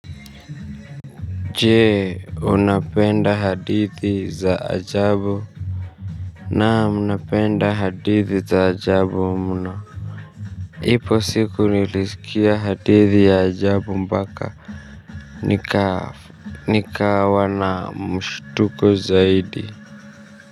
Je, unapenda hadithi za ajabu? Naam napenda hadithi za ajabu mno ipo siku nilisikia hadithi ya ajabu mpaka nikawa na mshtuko zaidi.